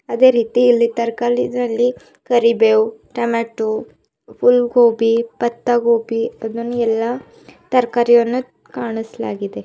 ಅದೇ ರೀತಿ ಇಲ್ಲಿ ತರ್ಕಲಿನಲ್ಲಿ ಕರಿಬೇವು ಟೊಮೆಟೊ ಹುಲ್ ಗೋಬಿ ಪತ್ತ ಗೋಬಿ ಅದನ್ನು ಎಲ್ಲಾ ತರಕಾರಿಯನ್ನು ಕಾಣಸ್ಲಾಗಿದೆ.